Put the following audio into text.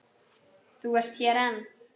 Þú ert hér enn!